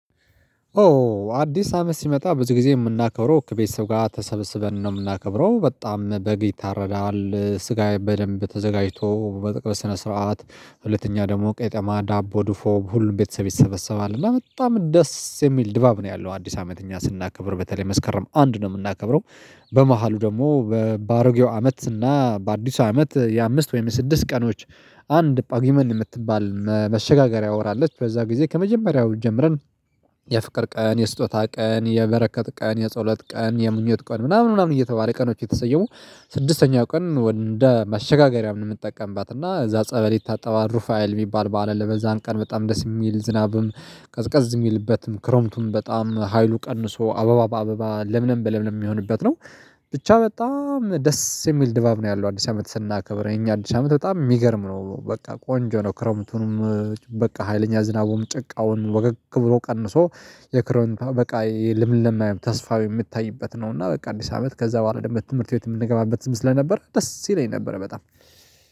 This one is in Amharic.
ኦ አዲስ አመት ሲመጣ ብዙ ጊዜ የምናከብረው ከቤተሰብ ጋ ተሰብስበን ነው የምናከብረው በጣም በግ ይታረዳል ስጋዬ በደንብ ተዘጋጅቶ በስነ ስርዓት ሁለተኛ ደግሞ ቄጠማ ዳቦ ድፎ ሁሉም ቤተሰብ ይሰበሰባል እና በጣም ደስ የሚል ድባብ ነው ያለው አዲስ አመት እኛ ስናከብር በተለይ መስከረም አንድ ነው የምናከብረው። በመሃሉ ደግሞ በባሮጌው አመት እና በአዲሱ አመት የአምስት ወይም የስድስት ቀኖች አንድ ጳጉመን የምትባል መሸጋገሪያ ወር አለች። በዛ ጊዜ ከመጀመሪያው ጀምረን የፍቅር ቀን የስጦታ ቀን የበረከት ቀን የጸሎት ቀን የምኞት ቀን ምናምን ምናምን እየተባለ ቀኖች የተሰየሙ። ስድስተኛው ቀን ወደ መሸጋገሪያ ምንጠቀምባት እና እዛ ጸበል ይታጠባሉ ሩፋኤል የሚባል በዓል ለበዛን ቀን በጣም ደስ የሚል ዝናብም ቀዝቀዝ የሚልበትም ክረምቱም በጣም ሀይሉ ቀንሶ አበባ በአበባ ለምንም በለምንም የሚሆንበት ነው። ብቻ በጣም ደስ የሚል ድባብ ነው ያለው። አዲስ አመት ስናከብር የኛ አዲስ አመት በጣም የሚገርም ነው በቃ ቆንጆ ነው። ክሮምቱንም በቃ ሀይለኛ ዝናቡም ጭቃውን ወገግ ብሎ ቀንሶ የክረም በቃ የልምልም ተስፋ የምታይበት ነው። እና በቃ አዲስ አመት ከዛ በኋላ ደግሞ ትምህርት ቤት የምንገባበትም ስለነበር ደስ ይለኝ ነበር በጣም